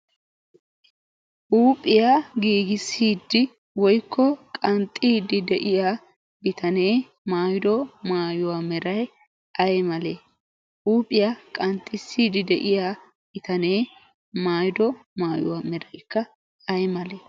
huuphiyaa giigisidi woykko qanxxiidi de'iyaa bitaanee mayyido mayuwaa meeray ay malee? huuphiyaa qaxxisiidi de'iyaa bittanee maayido maayuwaa meraykka ay malee?